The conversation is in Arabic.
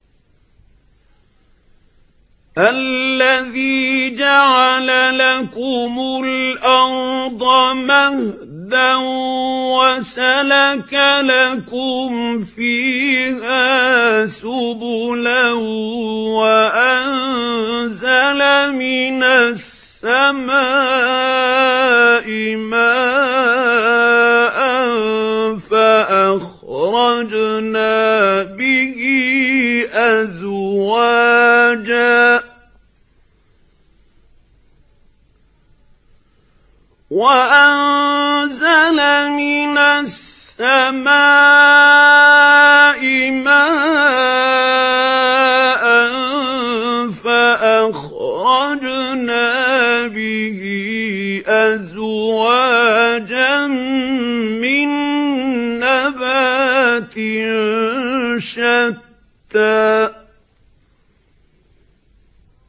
الَّذِي جَعَلَ لَكُمُ الْأَرْضَ مَهْدًا وَسَلَكَ لَكُمْ فِيهَا سُبُلًا وَأَنزَلَ مِنَ السَّمَاءِ مَاءً فَأَخْرَجْنَا بِهِ أَزْوَاجًا مِّن نَّبَاتٍ شَتَّىٰ